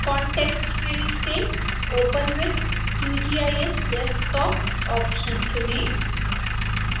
context menu से open with qgis desktop option चुनें